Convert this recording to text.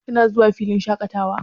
Kina zuwa filin shaƙatawa?